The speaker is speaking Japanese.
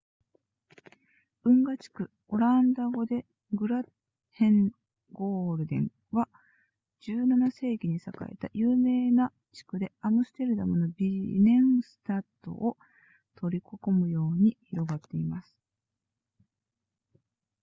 運河地区オランダ語で grachtengordel は17世紀に栄えた有名な地区でアムステルダムのビネンスタトを取り囲むように広がっています